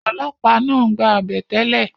ọlọ́pàá náà ń gba àbẹ̀tẹ́lẹ̀